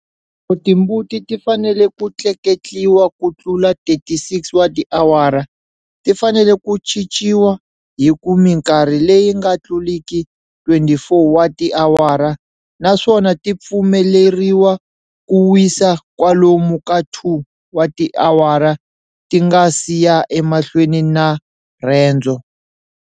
Loko timbuti ti fanele ku tleketliwa ku tlula 36 wa tiawara, ti fanele ku chichiwa hi ku minkarhi leyi nga tluriki 24 wa tiawara naswona ti pfumeleriwa ku wisa kwalomu ka 2 wa tiawara ti nga si ya emahlweni na rendzo.